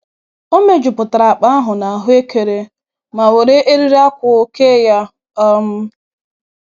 O mejupụtara akpa ahụ na ahuekere ma were eriri akwụ kee ya. um